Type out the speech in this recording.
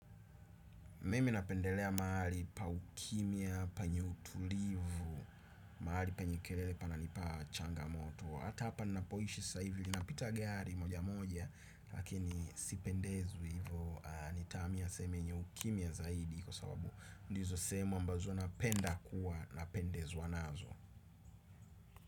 Mimi napendelea mahali pa ukimya, penye utulivu, mahali penye kelele pananipa changamoto. Hata hapa nnapoishi saivi lina pita gari moja moja lakini sipendezwi hivo. Nitahamia sehemu yenye ukimya zaidi kwa sababu ndizo sehemu ambazo napenda kuwa na pendezwa nazo.